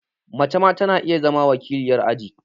Mace ma ta na iya zama wakiliyar aji